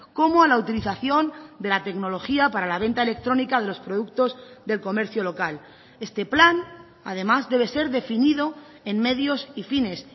como a la utilización de la tecnología para la venta electrónica de los productos del comercio local este plan además debe ser definido en medios y fines